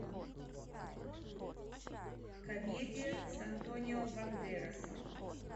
комедия с антонио бандерасом